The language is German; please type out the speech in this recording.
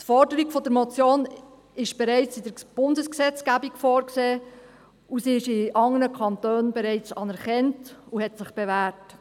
Die Forderung der Motion ist bereits in der Bundesgesetzgebung vorgesehen, ist in anderen Kantonen bereits anerkannt und hat sich bewährt.